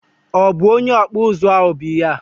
obụ onye ọkpụ ụzụ ahụ bụ ihe a?